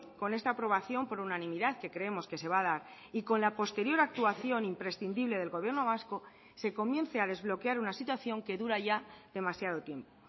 con esta aprobación por unanimidad que creemos que se va a dar y con la posterior actuación imprescindible del gobierno vasco se comience a desbloquear una situación que dura ya demasiado tiempo